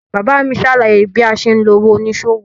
Bàbá mi ṣàlàyé bí a ṣe ń lo òwò oníṣòwò.